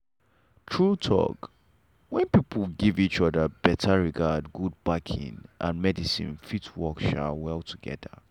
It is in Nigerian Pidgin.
true talk — when people give each other better regard god backing and medicine fit work um well together.